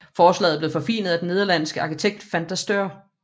Forslaget blev forfinet af den nederlandske arkitekt Van der Steur